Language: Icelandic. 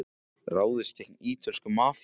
Ráðist gegn ítölsku mafíunni